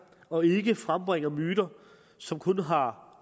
og ikke frembringer myter som kun har